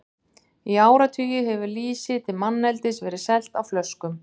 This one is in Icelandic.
Í áratugi hefur lýsi til manneldis verið selt á flöskum.